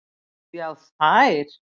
Já þær.